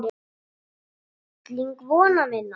Þú varst fylling vona minna.